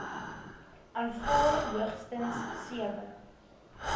aanvaar hoogstens sewe